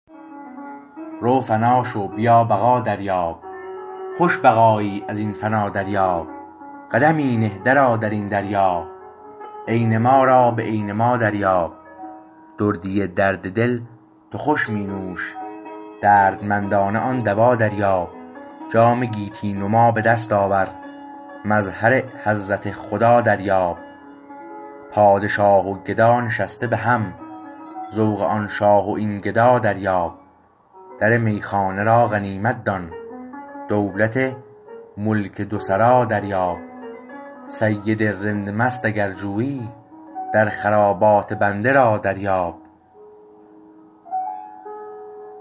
رو فنا شو بیا بقا دریاب خوش بقایی از این فنا دریاب قدمی نه درآ در این دریا عین ما را به عین ما دریاب دردی درد دل تو خوش می نوش دردمندانه آن دوا دریاب جام گیتی نما به دست آور مظهر حضرت خدا دریاب پادشاه و گدا نشسته به هم ذوق آن شاه و این گدا دریاب در میخانه را غنیمت دان دولت ملک دو سرا دریاب سید رند مست اگر جویی در خرابات بنده را دریاب